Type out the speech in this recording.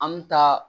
An mi taa